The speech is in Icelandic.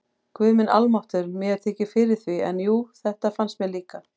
Guð minn almáttugur, mér þykir fyrir því, en jú, þetta fannst mér líka